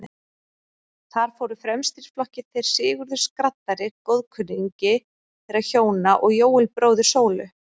Þar fóru fremstir í flokki þeir Sigurður skraddari, góðkunningi þeirra hjóna, og Jóel, bróðir Sólu.